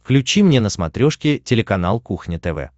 включи мне на смотрешке телеканал кухня тв